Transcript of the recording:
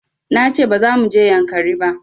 Na ce ba za mu je yankari ba